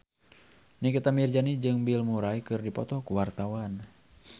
Nikita Mirzani jeung Bill Murray keur dipoto ku wartawan